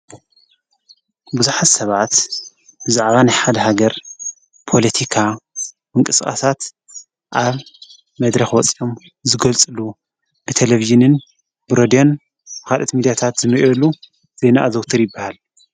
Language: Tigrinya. ብዙኃት ሰብዓት ዝዕባን ይሓድ ሃገር ጶሎቲካ ምንቅጽቓሳት ኣብ መድረ ወፃኦም ዝጐልጽሉ ብተለቢይንን ብሮድዮን ኻደት ሚዲያታት ዝምእሉ ዘይናእዘውተር ይብሃል።